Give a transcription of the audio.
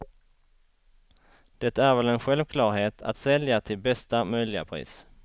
Det är väl en självklarhet att sälja till bästa möjliga pris.